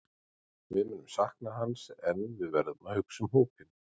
Við munum sakna hans en við verðum að hugsa um hópinn.